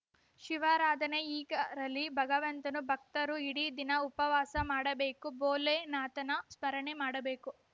ಶಿವರಾಧನೆ ಹೀಗರಲಿ ಭಗವಂತನ ಭಕ್ತರು ಇಡೀ ದಿನ ಉಪವಾಸ ಮಾಡಬೇಕು ಭೋಲೆನಾಥನ ಸ್ಮರಣೆ ಮಾಡಬೇಕು